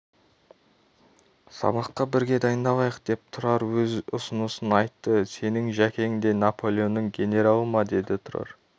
сабаққа бірге дайындалайық деп тұрар өз ұсынысын айтты сенің жәкең де наполеонның генералы ма деді тұрар